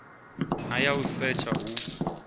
na ya u setsha hu